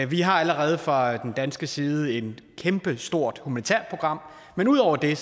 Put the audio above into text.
vi har allerede fra den danske side et kæmpestort humanitært program men ud over det